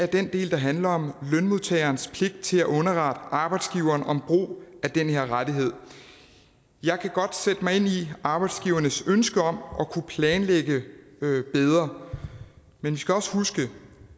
den del der handler om lønmodtagerens pligt til at underrette arbejdsgiveren om brug af den her rettighed jeg kan godt sætte mig ind i arbejdsgivernes ønsker om at kunne planlægge bedre men vi skal også huske